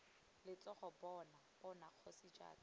letshogo bona bona kgosi jaaka